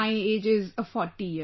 My age is 40 years